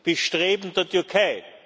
das Bestreben der Türkei.